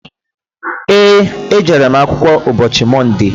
Eé, ejere m akwụkwọ ụbọchị Mọnde.